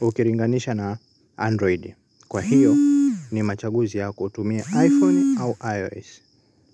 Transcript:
ukilinganisha na Android. Kwa hiyo ni machaguzi ya kutumia iPhone au iOS.